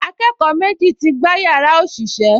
Akẹ́kọ̀ọ́ méjì ti gbá yàrá òṣìṣẹ́